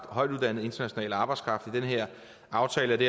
højtuddannet international arbejdskraft i den her aftale i det